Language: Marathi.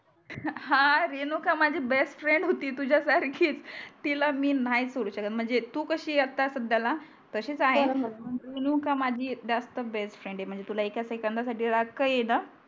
हा रेणुका माझी बेस्ट फ्रेंड होती तुझ्या सारखीच तिला मी नाही सोडू शकत म्हणजे तु कसि आता सध्या ला तसची आहे बर बर रेणुका माझी जास्त बेस्ट फ्रेंड आहे म्हणजे तुला एका सेकंदा साठी राग का येणा